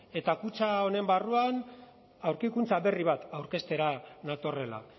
eta kutxa honen barruan aurkikuntza berri bat aurkeztera natorrela